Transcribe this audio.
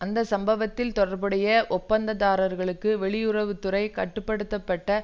அந்த சம்பவத்தில் தொடர்புடைய ஒப்பந்ததாரர்களுக்கு வெளியுறவு துறை கட்டு படுத்த பட்ட